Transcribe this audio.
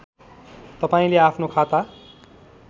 तपाईँले आफ्नो खाता